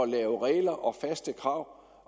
lave regler og faste krav